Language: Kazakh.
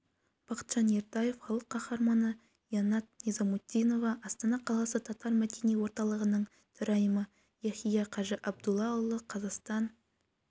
бақытжан ертаев халық қаһарманы яннат низамутдинова астана қаласы татар мәдени орталығының төрайымы яхия қажы абдуллаұлы қазақстан